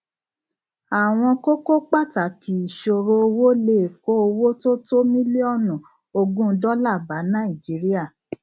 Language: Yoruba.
àwọn kókó pàtàkì ìṣòro owó lè kó owó tó tó mílíọnù ogún dọlà bá nàìjíríà